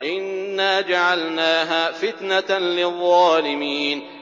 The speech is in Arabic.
إِنَّا جَعَلْنَاهَا فِتْنَةً لِّلظَّالِمِينَ